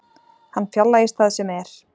Hann fjarlægist það sem er.